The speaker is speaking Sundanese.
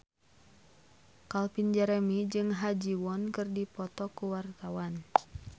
Calvin Jeremy jeung Ha Ji Won keur dipoto ku wartawan